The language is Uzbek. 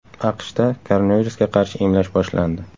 AQShda koronavirusga qarshi emlash boshlandi.